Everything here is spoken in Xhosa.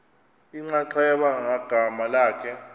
inxaxheba ngagama lakhe